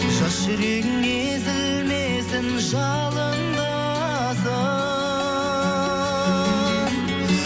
жас жүрегің езілмесін жалындасын